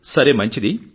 సరే మంచిది